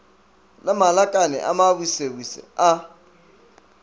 le malakane a mabusebuse a